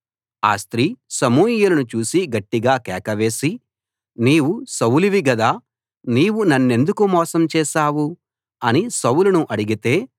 ఆ స్త్రీ సమూయేలును చూసి గట్టిగా కేకవేసి నీవు సౌలువి గదా నీవు నన్నెందుకు మోసం చేశావు అని సౌలును అడిగితే